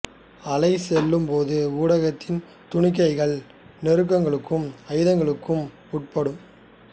அலை செல்லும் போது ஊடகத்தின் துணிக்கைகள் நெருக்கலுக்கும் ஐதாக்கலுக்கும் உட்படும்